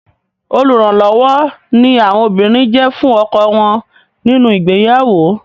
Olùrànlọ́wọ́ ni àwọn obìnrin jẹ́ fún ọkọ wọn nínu ìgbéyàwó.